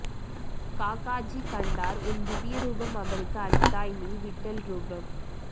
காகாஜி கண்டார் உன் திவ்ய ரூபம் அவருக்கு அளித்தாய் நீ விட்டல் ரூபம்